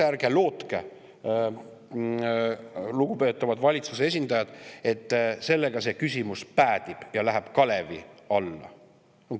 Ärge lootke, lugupeetavad valitsuse esindajad, et sellega see küsimus päädib ja läheb kalevi alla.